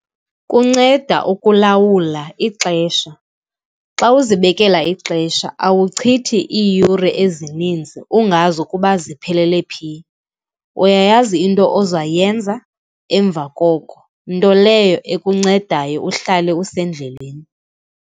Kunceda ukulawula ixesha. Xa uzibekela ixesha awuchithi iiyure ezininzi ungazi ukuba ziphelele phi. Uyayazi into oza yenza emva koko, nto leyo ekuncedayo uhlale usendleleni.